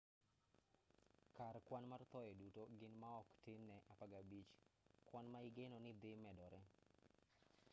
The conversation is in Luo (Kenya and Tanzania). kar kwan mar thoye duto gin maok tin ne 15 kwan ma igeno ni dhi medore